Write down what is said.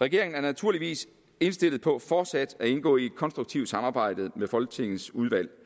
regeringen er naturligvis indstillet på fortsat at indgå i et konstruktivt samarbejde med folketingets udvalg